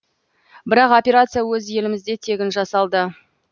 бірақ операция өз елімізде тегін жасалды